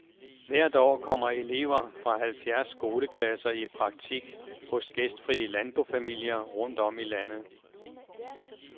Hvert år kommer elever fra halvfjerds skoleklasser i praktik hos gæstfrie landbofamilier rundt om i landet.